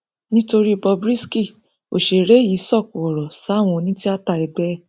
nítorí bob risky òṣèré yìí sokò ọrọ sáwọn onítìáta ẹgbẹ ẹ